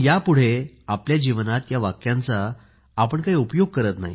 त्याच्या पुढे आपल्या जीवनात या वाक्यांचा आपण आपल्या जीवनात काही उपयोग करत नाही